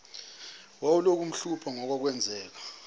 wawulokhu umhlupha ngokwakwenzeke